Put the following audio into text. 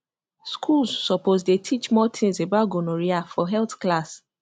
schools suppose dey teach more things about gonorrhea for health class